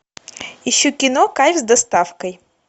ищу кино кайф с доставкой